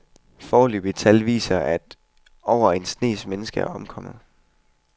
Foreløbige tal viser, at over en snes mennesker er omkommet.